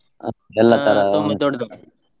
ಹ .